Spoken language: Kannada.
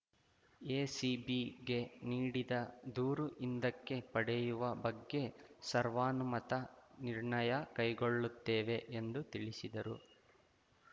ಎಸಿಬಿಗೆ ನೀಡಿದ ದೂರು ಹಿಂದಕ್ಕೆ ಪಡೆಯುವ ಬಗ್ಗೆ ಸರ್ವಾನುಮತ ನಿರ್ಣಯ ಕೈಗೊಳ್ಳುತ್ತೇವೆ ಎಂದು ತಿಳಿಸಿದರು